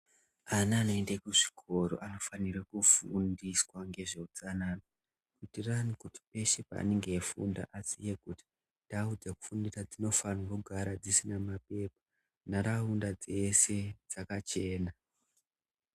Ana anoende kuzvikoro anofanire kufundiswa ngezveutsanana kutirani kuti peshe paanenge eifunda aziye kuti ndau dzekufundira dzinofanire kugara dzisina mapepa nharaunda dzeshe dzakachena.